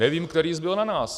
Nevím, který zbyl na nás.